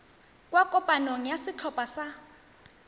kwa kopanong ya setlhopha sa